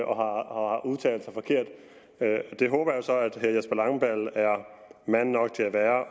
og har udtalt sig forkert det håber jeg så at herre jesper langballe er mand nok til at